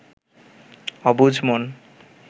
অবুঝ মন